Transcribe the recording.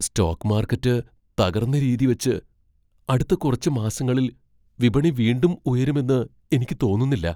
Stock market തകർന്ന രീതിവച്ച്, അടുത്ത കുറച്ച് മാസങ്ങളിൽ വിപണി വീണ്ടും ഉയരുമെന്ന് എനിക്ക് തോന്നുന്നില്ല.